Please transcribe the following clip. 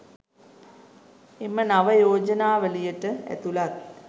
එම නව යෝජනාවලියට ඇතුළත්